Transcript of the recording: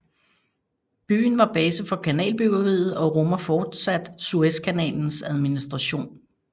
Byen var base for kanalbyggeriet og rummer fortsat Suezkanalens administration